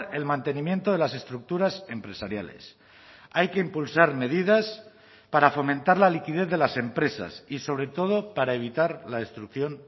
el mantenimiento de las estructuras empresariales hay que impulsar medidas para fomentar la liquidez de las empresas y sobre todo para evitar la destrucción